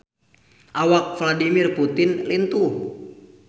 Awak Vladimir Putin lintuh